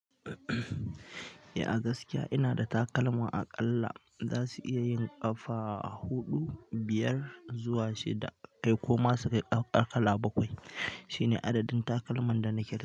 Ya gaskiya ina da takalma aƙalla za su iya yin ƙafa huɗu, biyar zuwa shida ko ma sai kala bakwai. Shine ada din takalman danake da.